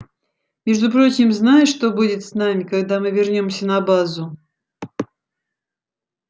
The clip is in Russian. между прочим знаешь что будет с нами когда мы вернёмся на базу